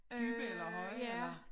Dybe eller høje eller